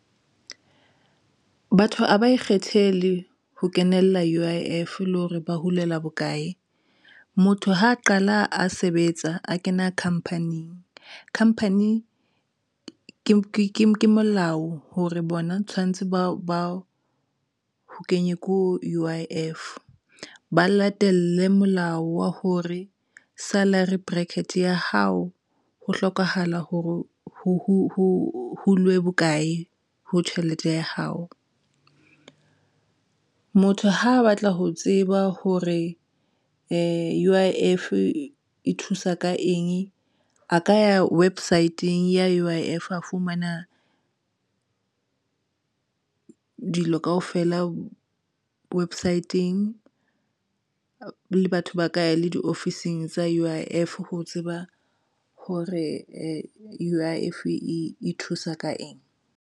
Batho ha ba ikgethele ho kenela U_I_F le hore ba hulela bokae. Motho ha a qala a sebetsa a kena khampanen. Khampani ke molao hore bona tshwanetse ba o kenye ko U_I_F ba latelle molao wa hore salary bracket ya hao ho hlokahala hore ho hulwe bokae ho tjhelete ya hao. Motho ha batla ho tseba hore U_I_F e thusa ka eng a ka ya website-ng ya U_I_F a fumana dilo kaofela website-eng le batho ba ka ya le diofising tsa U_I_F ho tseba hore e U_I_F e thusa ka eng.